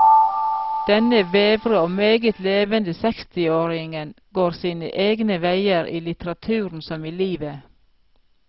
Denne vevre og meget levende sekstiåring går sine egne veier, i litteraturen som i livet.